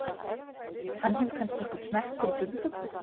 Hann hefur kannski einhvern smekk fyrir furðufuglum.